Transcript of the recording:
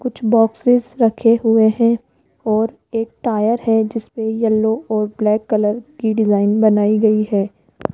कुछ बॉक्सेस रखे हुए हैं और एक टायर है जिसपे येलो और ब्लैक कलर की डिजाइन बनाई गई है।